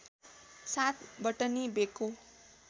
साथ बटनी बेको